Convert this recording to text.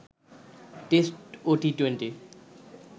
test ও T twenty